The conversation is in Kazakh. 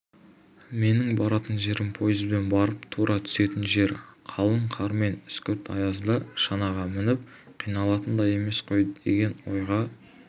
менің баратын жерім пойызбен барып тура түсетін жер қалың қар мен үскірік аязда шанаға мініп қиналатын да емес қой деген ойға